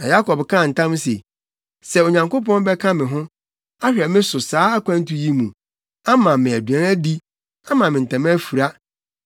Na Yakob kaa ntam se, “Sɛ Onyankopɔn bɛka me ho, ahwɛ me so wɔ saa akwantu yi mu, ama me aduan adi, ama me ntama afura,